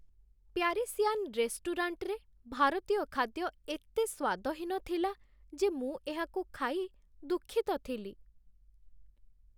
Parisian ରେଷ୍ଟୁରାଣ୍ଟରେ ଭାରତୀୟ ଖାଦ୍ୟ ଏତେ ସ୍ୱାଦହୀନ ଥିଲା ଯେ ମୁଁ ଏହାକୁ ଖାଇ ଦୁଃଖିତ ଥିଲି।